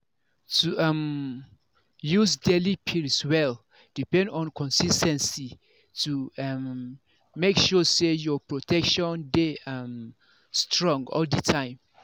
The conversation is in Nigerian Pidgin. to um use daily pills well depend on consis ten cy to um make sure say your protection dey um strong all the time